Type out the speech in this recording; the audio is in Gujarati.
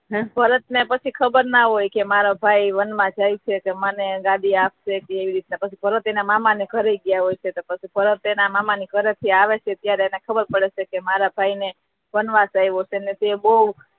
ભરત ને પછી ખબર ના હોય કે મારો ભાઈ વનમાં જાય છે કે મને ગાદી આપશે કે કેવી રીતે પછી ભરત મામા ને ઘેર ગયા હોય છે તો પછી ભરત તેના મામા ના ઘરે થી આવે છે ત્યારે એને ખબર પડે છે કે મારા ભાઈ ને વનવાસ થયો હોય છે અને તે બહૂ